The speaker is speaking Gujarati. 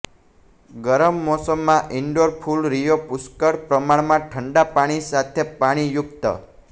ગરમ મોસમમાં ઇન્ડોર ફૂલ રિયો પુષ્કળ પ્રમાણમાં ઠંડા પાણી સાથે પાણીયુક્ત